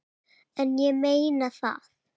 En ég meina það.